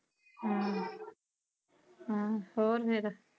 ਹਮ ਹਮ ਹਾ ਹੋਰ ਫੇਰ